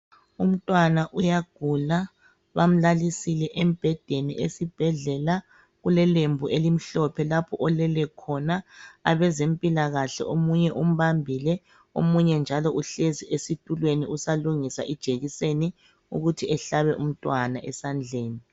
Umntwana uyagula bamlalisile embhedeni esibhedlela .Kulelembu elimhlophe lapho olele khona . Abezempilakahle omunye umbambile omunye njalo uhlezi esitulweni usalungisa ijekiseni ukuthi ehlabe umntwana esandleni.